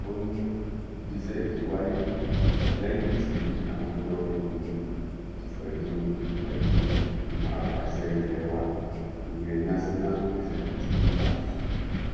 ó ní ìgbésẹ̀ yìí wáyé lẹ́yìn tí àwọn jọ fikùn lukùn pẹ̀lú pẹ̀lú ìgbìmọ̀ apàsẹ ilẹ́ wa ìyẹn national executive council